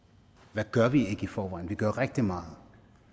hvad gør vi ikke i forvejen vi gør rigtig meget